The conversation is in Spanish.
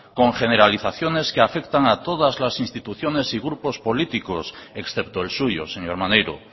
con generalizaciones que afectan a todas las instituciones y grupo políticos excepto el suyo señor maneiro